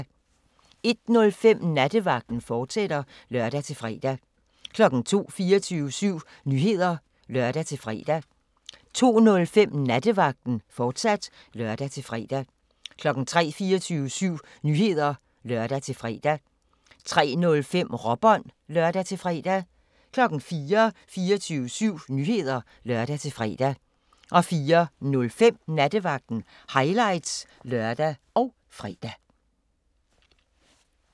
01:05: Nattevagten, fortsat (lør-fre) 02:00: 24syv Nyheder (lør-fre) 02:05: Nattevagten, fortsat (lør-fre) 03:00: 24syv Nyheder (lør-fre) 03:05: Råbånd (lør-fre) 04:00: 24syv Nyheder (lør-fre) 04:05: Nattevagten – highlights (lør og fre)